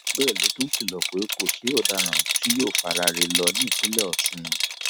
bẹẹ ló tún kìlọ pé kò sí ọdaràn tí yóò faraare lọ nípìnlẹ ọsùn